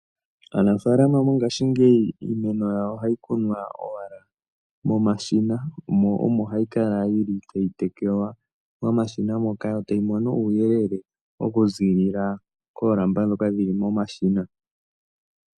Aanafaalama mongashingeyi iimeno yawo ohayi kunwa owala momashina mo omo hayikala yili tayi tekelwa momashina moka yo tayi mono uuyelele okuziilila koolamba dhoka dhili momashina.